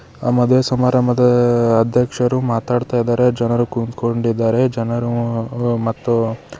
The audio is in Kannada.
ಅ ಮದ್ವೆ ಸಮಾರಂಭದ ಅಧ್ಯಕ್ಷರು ಮಾತಾಡ್ತಾಯಿದಾರೆ ಜನರು ಕುಂತ್ಕೊಂಡಿದ್ದಾರೆ ಜನರು ಮತ್ತು --